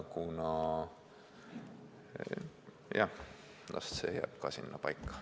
Las see teema jääb sinnapaika.